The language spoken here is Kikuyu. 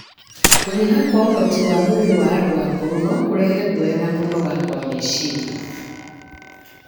Kũnyiha kwa ũhoti wa mwĩrĩ wa andũ akũrũ no kũrehe guoya na kũnoga kwa meciria.